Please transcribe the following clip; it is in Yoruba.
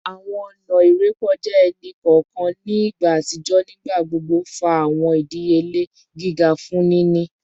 Awọn ọna irekọja ẹni kọọkan ni igba atijọ nigbagbogbo fa awọn idiyele giga fun nini